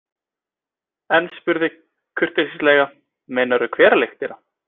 En spurði kurteislega: Meinarðu hveralyktina?